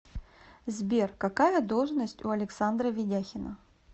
сбер какая должность у александра ведяхина